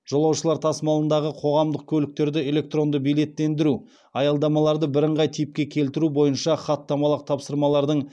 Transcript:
жолаушылар тасымалындағы қоғамдық көліктерді электронды билеттендіру аялдамаларды бірыңғай типке келтіру бойынша хаттамалық тапсырмалардың